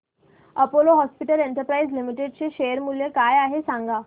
Apollo hospitals enterprise limited चे share मूल्य काय आहे सांगा